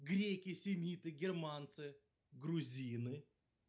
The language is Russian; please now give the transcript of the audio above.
греки семиты германцы грузины